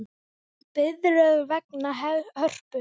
Biðröð vegna Hörpu